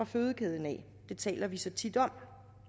fødekæden det taler vi så tit om